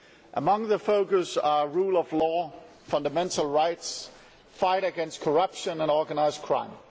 Among the focus areas are the rule of law, fundamental rights, the fight against corruption and organised crime.